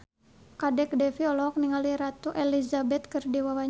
Kadek Devi olohok ningali Ratu Elizabeth keur diwawancara